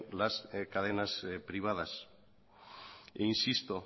las cadenas privadas e insisto